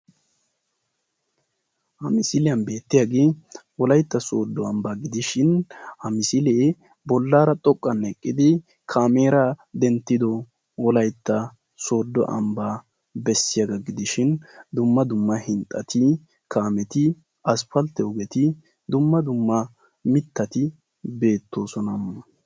Ha misiliyaan beettiyaagee wolaytta sooddo ambbaa gidishin ha misilee bollaara xoqqan eqqidi kaameraa denttido sooddo ambbaa bessiyaagaa gidishin dumma dumma aspaltetti kaameti dumma dumma mittati beettoosona.